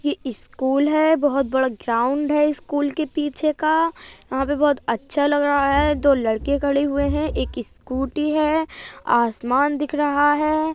ये स्कूल है बहुत बड़ा ग्राउंड है। स्कूल के पीछे का वहाँ पर बहुत अच्छा लग रहा है। दो लड़के खड़े हुए हैं एक स्कूटी है। आसमान दिख रहा है।